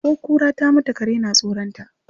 Ko kura ta mutu kare na tsoron ta.